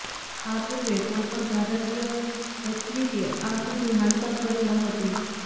આ પૂર્વે કોઈ પણ ભારતીય એથ્લીટે આ સિદ્ધિ હાંસલ કરી નહોતી